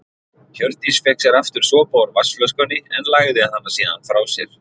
Hjördís fékk sér aftur sopa úr vatnsflöskunni en lagði hana síðan frá sér.